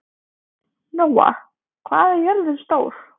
Nóa, hvað er jörðin stór?